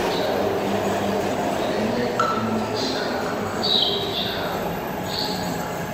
njalo eminye imikhuhlane iyaqinisa amasotsha omzimba